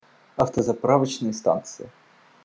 автозаправочные станции